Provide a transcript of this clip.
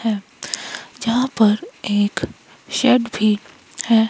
है यहां पर एक शेड भी है।